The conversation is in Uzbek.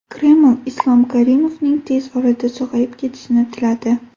Kreml Islom Karimovning tez orada sog‘ayib ketishini tiladi.